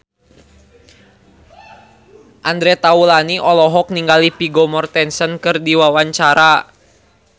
Andre Taulany olohok ningali Vigo Mortensen keur diwawancara